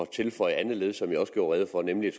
tilføje andet led som jeg også gjorde rede for nemlig